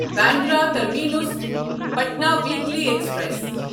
Bandra terminus Patna weekly express